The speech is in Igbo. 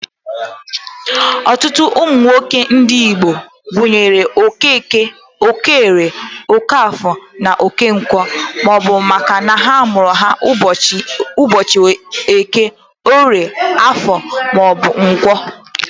Ọtụtụ ụmụ nwoke ndị Igbo a gụrụ Okeke, Okeorie (Okeoye or Okoye), Okeafọ (Okafọ) na Okenkwọ (Okonkwọ), bụ makana a mụrụ ha ụbọchị Eke, Orie, Afọ ma ọ bụ Nkwọ.